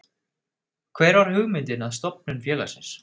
Hver var hugmyndin að stofnun félagsins?